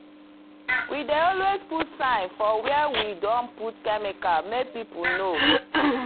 we dey always put sign for where we don put chemical make people know.